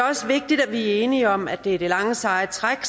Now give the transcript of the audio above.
også vigtigt at vi er enige om at det er det lange seje træk